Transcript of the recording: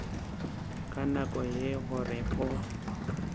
ka nako ye gore o